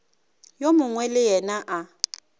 yo mongwe le yena a